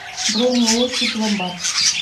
бронь ооо сиб ломбард